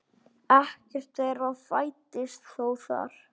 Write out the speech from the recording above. Ekkert þeirra fæddist þó þar.